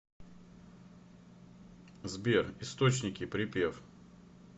сбер источники припев